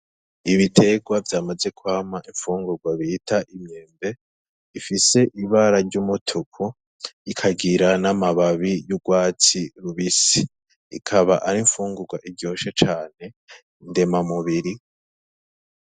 Ibiterwa vyamaze kwama imfungurwa bita imyembe ifise ibara risa ryumutuku ikagira n'amababi yurwatsi rubisi ikaba ari imfungurwa ikunzwe cane ndemamubiri.